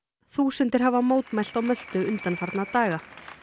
þúsundir hafa mótmælt á Möltu undanfarna daga